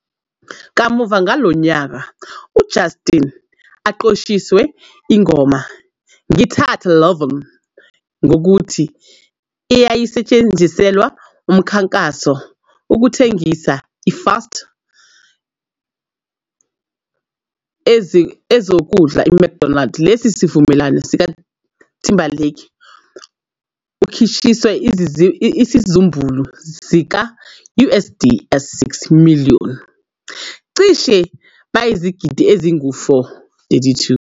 Kamuva ngalowo nyaka, Justin aqoshiwe ingoma "Ngithathe Lovin 'ngokuthi", eyayisetshenziselwa mkhankaso ukukhangisa fast eziwukudla McDonald. Lesi isivumelwano Timberlake ukhishwa isizumbulu sika-USD 6 million, cishe bayizigidi ezingu-4. 32.